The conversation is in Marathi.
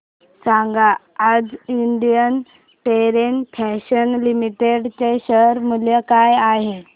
सांगा आज इंडियन टेरेन फॅशन्स लिमिटेड चे शेअर मूल्य काय आहे